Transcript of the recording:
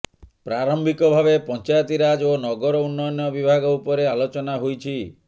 ପ୍ରାରମ୍ଭିକ ଭାବେ ପଞ୍ଚାୟତିରାଜ ଓ ନଗର ଉନ୍ନୟନ ବିଭାଗ ଉପରେ ଆଲୋଚନା ହୋଇଛି